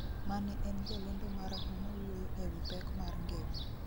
mane en jalendo marahuma wuoyo e wi pek mar ngima